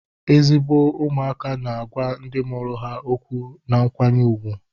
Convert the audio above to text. Ezigbo ụmụaka na-agwa ndị mụrụ ha okwu na nkwanye ùgwù